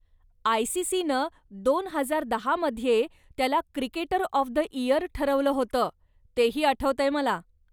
आयसीसीनं दोन हजार दहा मध्ये त्याला 'क्रिकेटर ऑफ द इयर' ठरवलं होतं, तेही आठवतंय मला.